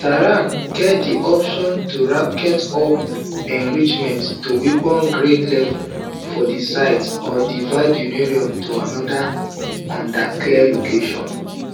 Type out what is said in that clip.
tehran get di option to ratchet up enrichment to weaponsgrade levels for di site or divert uranium to anoda undeclared location